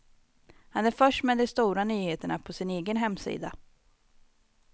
Han är först med de stora nyheterna på sin egen hemsida.